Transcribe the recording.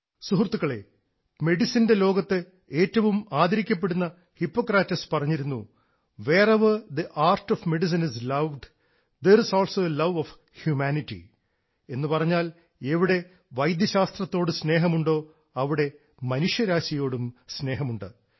സുഹൃത്തുക്കളേ മെഡിസിൻറെ ലോകത്ത് ഏറ്റവും ആദരിക്കപ്പെടുന്ന ഹിപ്പോക്രാറ്റസ് പറഞ്ഞിരുന്നു എവിടെ വൈദ്യശാസ്ത്രത്തോട് സ്നേഹമുണ്ടോ അവിടെ മനുഷ്യരാശിയോടും സ്നേഹമുണ്ട്